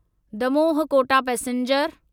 Damoh Kota passenger